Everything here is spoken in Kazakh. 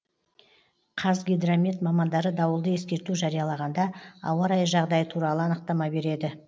қазгидромет мамандары дауылды ескерту жариялағанда ауа райы жағдайы туралы анықтама береді